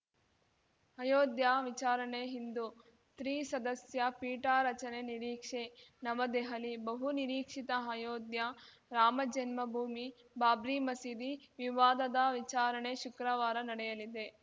ಅಯೋಧ್ಯ ವಿಚಾರಣೆ ಇಂದು ತ್ರಿಸದಸ್ಯ ಪೀಠ ರಚನೆ ನಿರೀಕ್ಷೆ ನವದೆಹಲಿ ಬಹುನಿರೀಕ್ಷಿತ ಅಯೋಧ್ಯೆ ರಾಮಜನ್ಮಭೂಮಿಬಾಬ್ರಿ ಮಸೀದಿ ವಿವಾದದ ವಿಚಾರಣೆ ಶುಕ್ರವಾರ ನಡೆಯಲಿದೆ